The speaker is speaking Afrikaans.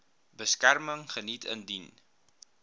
beskerming geniet indien